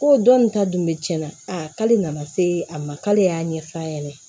Ko dɔnni ta dun bɛ cɛn na a k'ale nana se a ma k'ale y'a ɲɛf'a ɲɛna